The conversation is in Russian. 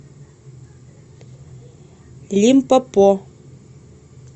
лимпопо